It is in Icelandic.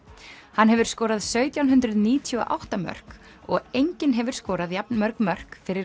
hann hefur skorað sautján hundruð níutíu og átta mörk og enginn hefur skorað jafn mörg mörk fyrir